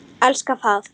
Elska það.